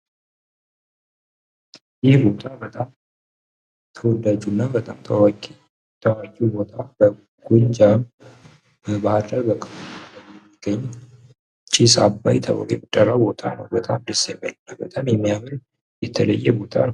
ይህ ቦታ ቦታ በጣም ተወዳጁና በጣም ታዋቂው ቦታ በጎጃም ባህር ዳር ክፍለ ሀገር የሚገኝ ጭስ አባ ተብሎ የሚጠራ ቦታ ነው። በጣም ደስ የሚል እና በጣም የሚያምር የተለየ ቦታ ነው።